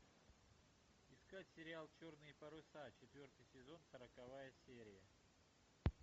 искать сериал черные паруса четвертый сезон сороковая серия